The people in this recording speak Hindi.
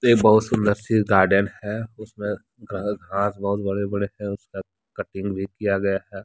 ये बहुत सुंदर सी गार्डन है उसमें घांस बहुत बड़े बड़े हैं उसका कटिंग भी किया गया है।